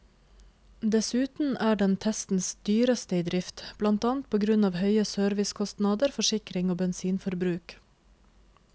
Dessuten er den testens dyreste i drift, blant annet på grunn av høye servicekostnader, forsikring og bensinforbruk.